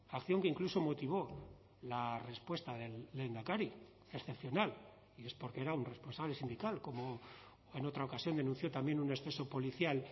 acción que incluso motivó la respuesta del lehendakari excepcional y es porque era un responsable sindical como en otra ocasión denunció también un exceso policial